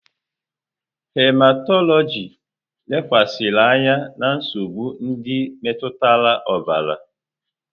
Hematọlọjị lekwasịrị anya na nsogbu ndị metụtara ọbara.